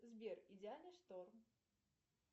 сбер идеальный шторм